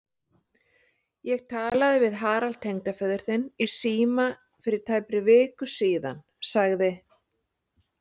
Ég talaði við Harald tengdaföður þinn í síma fyrir tæpri viku sagði